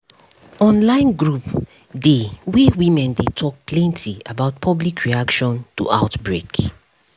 online group dey wey women dey talk plenty about public reaction to outbreak